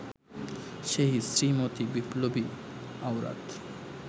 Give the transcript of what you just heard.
সেই শ্রীমতী বিপ্লবী আওরাত